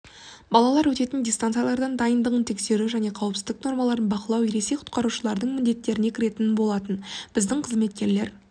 балалар өтетін дистанциялардың дайындығын тексеру және қауіпсіздік нормаларын бақылау ересек құтқарушылардың міндеттеріне кіретін болатын біздің қызметкерлер